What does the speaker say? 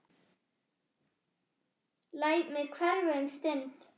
Læt mig hverfa um stund.